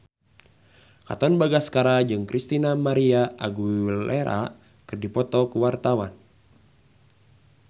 Katon Bagaskara jeung Christina María Aguilera keur dipoto ku wartawan